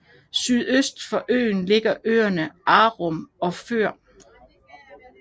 Sydøst for øen ligger øerne Amrum og Før